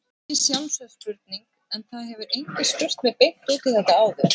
Kannski sjálfsögð spurning en það hefur enginn spurt mig beint út um þetta áður.